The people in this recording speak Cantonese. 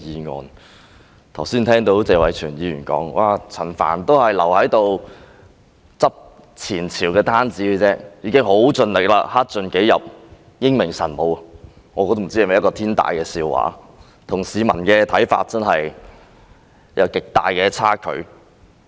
我剛才聽到謝偉銓議員說，陳帆只是在收拾前朝的爛攤子而已，他已經很盡力，克盡己職，英明神武，我不知這是否天大的笑話，與市民的看法真的有極大的差距。